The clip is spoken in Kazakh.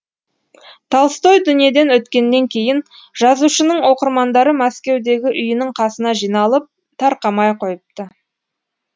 толстой дүниеден өткеннен кейін жазушының оқырмандары мәскеудегі үйінің қасына жиналып тарқамай қойыпты